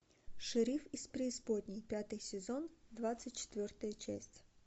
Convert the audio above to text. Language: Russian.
шериф из преисподней пятый сезон двадцать четвертая часть